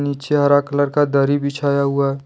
नीचे हरा कलर का दरी बिछाया हुआ है।